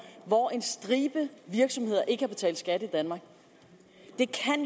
hvor en stribe virksomheder ikke har betalt skat i danmark det kan